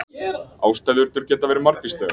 Ástæðurnar geta verið margvíslegar.